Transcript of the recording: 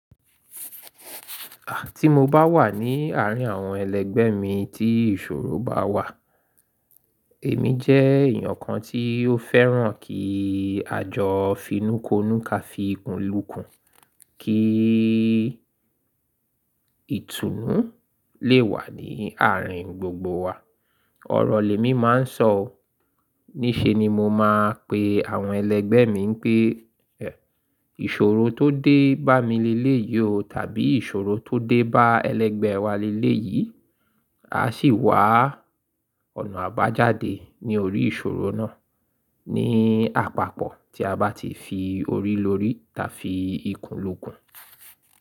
À tí mo bá wà ní àárín àwọn ẹlẹ́gbẹ́ mi tí ìṣòro bá wà, èmi jẹ́ èèyàn kan tí ó fẹ́ràn kí àjọ finúkonúká fi ikùnlùkùn, kí ìtùnú lè wà ní àárín gbogbo wa. Ọ̀rọ̀ lèmi máa ń sọ, níṣe ni mo máa ń pe àwọn ẹlẹ́gbẹ́ mi pé ìṣòro tó dé bá mi lé léyìí o tàbí ìṣòro tó dé bá ẹlẹ́gbẹ́ wa lé léyìí, a sì wá ọ̀nà àbájáde ní orí ìṣòro náà ní àpapọ̀ tí a bá ti fi orí lórí tàbí ikùnlùkùn.